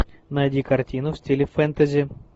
найди картину в стиле фэнтези